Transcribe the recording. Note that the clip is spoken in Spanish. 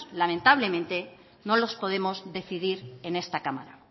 lamentablemente no los podemos decidir en esta cámara